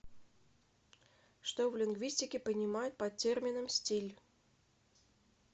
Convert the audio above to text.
что в лингвистике понимают под термином стиль